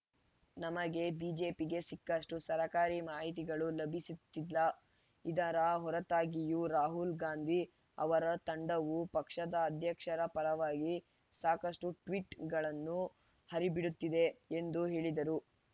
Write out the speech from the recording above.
ನಮಗೆ ಬಿಜೆಪಿಗೆ ಸಿಕ್ಕಷ್ಟುಸರ್ಕಾರಿ ಮಾಹಿತಿಗಳು ಲಭಿಸಿತ್ತಿಲ್ಲ ಇದರ ಹೊರತಾಗಿಯೂ ರಾಹುಲ್‌ ಗಾಂಧಿ ಅವರ ತಂಡವು ಪಕ್ಷದ ಅಧ್ಯಕ್ಷರ ಪರವಾಗಿ ಸಾಕಷ್ಟುಟ್ವೀಟ್‌ಗಳನ್ನು ಹರಿಬಿಡುತ್ತಿದೆ ಎಂದು ಹೇಳಿದರು